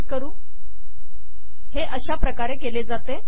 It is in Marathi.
तर मग हे असे करतात